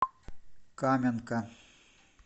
каменка